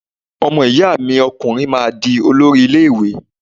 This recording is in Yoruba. Ọmọ ìyá mi ọkùnrin máa di olórí ilé ìwé